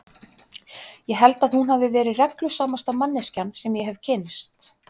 Ég held að hún hafi verið reglusamasta manneskjan sem ég hefi kynnst.